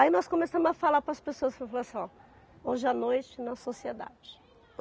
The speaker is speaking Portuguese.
Aí nós começamos a falar para as pessoas, falou assim, ó, hoje à noite, na sociedade.